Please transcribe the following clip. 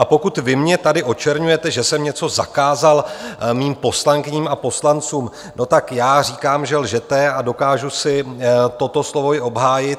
A pokud vy mě tady očerňujete, že jsem něco zakázal mým poslankyním a poslancům - no, tak já říkám, že lžete, a dokážu si toto slovo i obhájit.